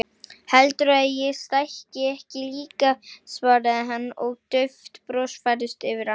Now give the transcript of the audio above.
Heldurðu að ég stækki ekki líka, svaraði hann og dauft bros færðist yfir andlitið.